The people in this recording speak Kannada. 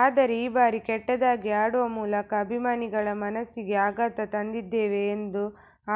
ಆದರೆ ಈ ಬಾರಿ ಕೆಟ್ಟದಾಗಿ ಆಡುವ ಮೂಲಕ ಅಭಿಮಾನಿಗಳ ಮನಸ್ಸಿಗೆ ಆಘಾತ ತಂದಿದ್ದೇವೆ ಎಂದು